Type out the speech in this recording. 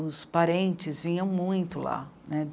os parentes vinham muito lá, né.